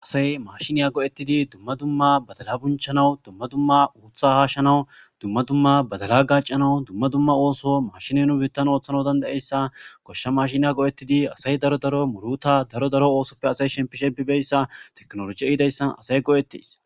asay mashiniya go7ettidi dumma dumma badala bunchanawu dumma dumma uutha haashshanawu dumma dumma badala gacanawu dumma dumma ooso mashine nu biittan ooththanau dandaeyssa koshsha mashiniya go7ettidi asay daro daro muruta daro daro oosoppe asay shempishepibeyssa teknoloji ehidayssan asay go7ettis